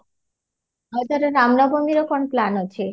ଆଉ ତୋର ରାମ ନବମୀରେ କ'ଣ plan ଅଛି?